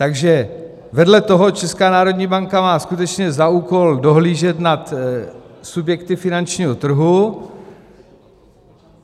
Takže vedle toho Česká národní banka má skutečně za úkol dohlížet nad subjekty finančního trhu.